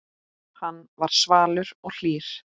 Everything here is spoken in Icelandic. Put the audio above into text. Hann var svalur og hlýr.